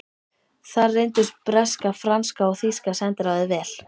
Þar reyndust breska, franska og þýska sendiráðið vel.